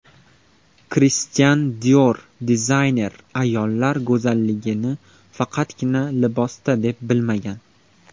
Kristian Dior Dizayner ayollar go‘zalligini faqatgina libosda deb bilmagan.